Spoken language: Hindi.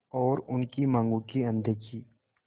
और उनकी मांगों की अनदेखी